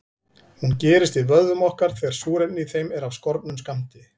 Hún gerist í vöðvum okkar þegar súrefni í þeim er af skornum skammti.